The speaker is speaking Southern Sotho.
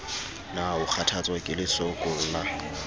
na o kgathatswa ke lesokolla